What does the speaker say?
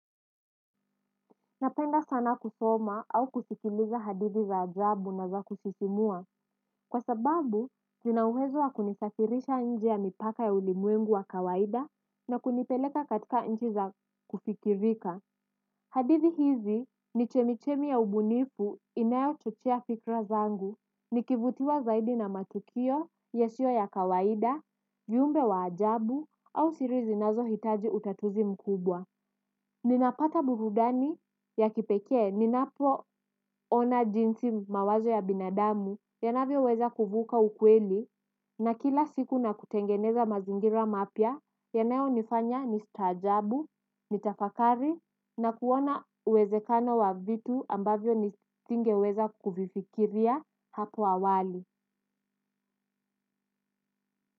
Napenda sana kusoma au kusikiliza hadithi za ajabu na za kusisimua. Kwa sababu, zina uwezo wa kunisafirisha nje ya mipaka ya ulimwengu wa kawaida. Na kunipeleka katika nchi za kufikirika. Hadithi hizi ni chemichemi ya ubunifu inayochochea fikra zangu. Nikivutiwa zaidi na matukio, yasio ya kawaida, viumbe wa ajabu au siri zinazohitaji utatuzi mkubwa. Ninapata burudani ya kipekee, ninapo ona jinsi mawazo ya binadamu, yanavyoweza kuvuka ukweli, na kila siku na kutengeneza mazingira mapya, yanayonifanya nistaajabu, nitafakari, na kuona uwezekano wa vitu ambavyo nisingeweza kuvifikiria hapo awali.